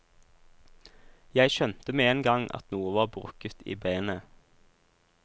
Jeg skjønte med en gang at noe var brukket i benet.